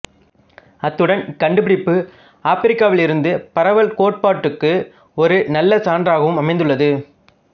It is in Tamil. அத்துடன் இக்கண்டுபிடிப்பு ஆப்பிரிக்காவிலிருந்து பரவல் கோட்பாட்டுக்கு ஒரு நல்ல சான்றாகவும் அமைந்துள்ளது